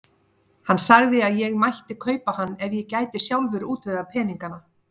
Hann sagði að ég mætti kaupa hann ef ég gæti sjálfur útvegað peningana.